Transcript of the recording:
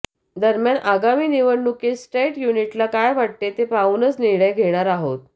दरम्यान आगामी निवडणुकीत स्टेट युनिटला काय वाटतं ते पाहूनच निर्णय घेणार आहोत